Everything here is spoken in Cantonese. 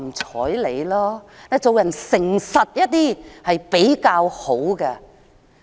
做人誠實一些比較好。